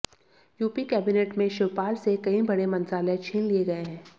UP cabinet में शिवपाल से कई बड़े मंत्रालय छीन लिए गए हैं